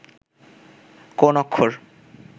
কোন অক্ষর